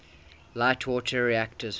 light water reactors